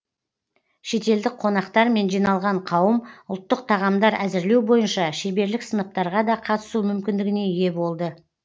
шетелдік қонақтар мен жиналған қауым ұлттық тағамдар әзірлеу бойынша шеберлік сыныптарға да қатысу мүмкіндігіне ие болды